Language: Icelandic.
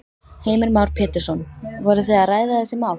Heimir Már Pétursson: Voru þið að ræða þessi mál?